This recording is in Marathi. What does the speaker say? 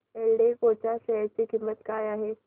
एल्डेको च्या शेअर ची किंमत काय आहे